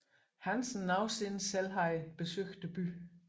Hansen nogensinde selv havde besøgt byen